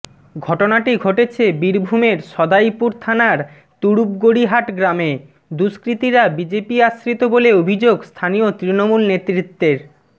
ঘটনাটি ঘটেছে বীরভূমের সদাইপুর থানার তুরুপগড়ীহাট গ্রামে দুষ্কৃতীরা বিজেপি আশ্রিত বলে অভিযোগ স্থানীয় তৃণমূল নেতৃত্বের